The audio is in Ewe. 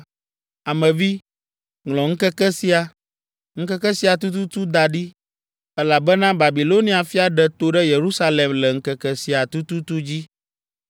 “Ame vi, ŋlɔ ŋkeke sia, ŋkeke sia tututu da ɖi, elabena Babilonia fia ɖe to ɖe Yerusalem le ŋkeke sia tututu dzi.